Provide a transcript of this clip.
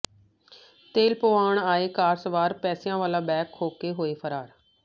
ਤੇਲ ਪਵਾਉਣ ਆਏ ਕਾਰ ਸਵਾਰ ਪੈਸਿਆਂ ਵਾਲਾ ਬੈਗ ਖੋਹ ਕੇ ਹੋਏ ਫਰਾਰ